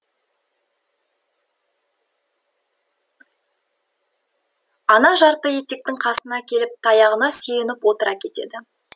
ана жартыетектің қасына келіп таяғына сүйеніп отыра кетеді